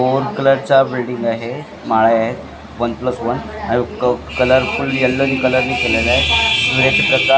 four कलरचा building आहे माळ्या आहेत वन प्लस वन आणि क कलरफुल येल्लो कलरनी केलेल आहे सुरेख --